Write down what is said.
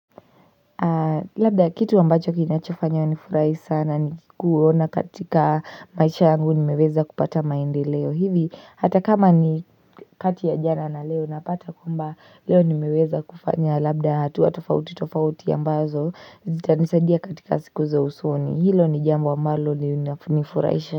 Labda kitu ambacho kinachofanya wa nifurahi sana ni kuona katika maisha yangu nimeweza kupata maende leo hivi hata kama ni kati ya jana na leo napata kwamba leo nimeweza kufanya labda hatua tofauti tofauti ambazo zita nisaindia katika siku za usoni hilo ni jambo ambalo nifurahisha.